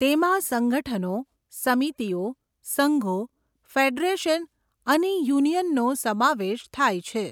તેમાં સંગઠનો, સમિતિઓ, સંઘો, ફેડરેશન અને યુનિયનનો સમાવેશ થાય છે.